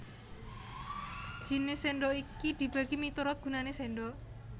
Jinis sèndhok iki dibagi miturut gunané sèndhok